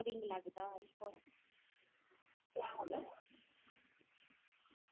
boring ਲਗਦਾ iPhone